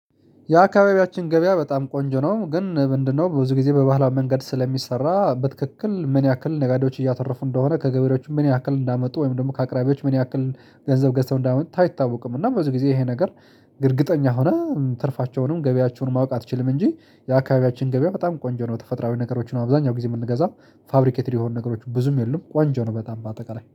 የአካባቢያችን ገበያ በጣም ቆንጆ ነው ግን ምንድነው ብዙ ጊዜ በባህላው መንገድ ስለሚሰራ፣ በትክክል ምን ያህል ነጋዴዎች እያተረፉ እንደሆነ፣ ከገበሬዎቹ ምን ያህል እንዳመጡ ወይም ደግሞ ከአቅራቢዎች ምን ያክል ገንዘብ ገንዘብ እንዳመጡ ታይታወቅም እና ብዙ ጊዜ ይሄ ነገር እርግጠኛ ሆነ ትርፋቸውንም ገቢያቸውን ማወቅ አትችልም እንጂ የአካባቢያችን ገበያ በጣም ቆንጆ ነው። ተፈጥሮአዊ ነገሮችን አብዛኛው ጊዜ የምንገዛው። ፋብሪኬትድ የሆኑ ነገሮች ብዙም የሉም። ቆንጆ ነው በጣም በአጠቃላይ።